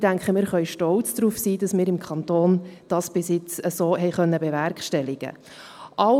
Ich denke, wir können stolz darauf sein, dass wir dies bisher so im Kanton haben bewerkstelligen können.